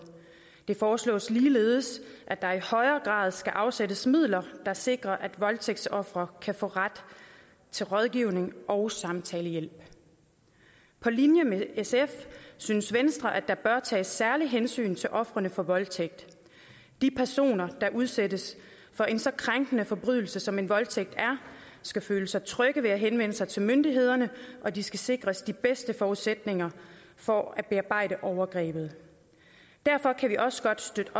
det foreslås ligeledes at der i højere grad skal afsættes midler der sikrer at voldtægtsofre kan få ret til rådgivning og samtalehjælp på linje med sf synes venstre at der bør tages særlige hensyn til ofrene for voldtægt de personer der udsættes for en så krænkende forbrydelse som voldtægt er skal føle sig trygge ved at henvende sig til myndighederne og de skal sikres de bedste forudsætninger for at bearbejde overgrebet derfor kan vi også støtte